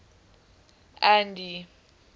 andy